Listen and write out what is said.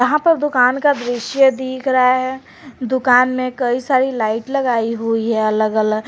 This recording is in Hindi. यहां प दुकान का दृश्य दिख रहा है दुकान में कई सारी लाइट लगाई हुई है अलग अलग।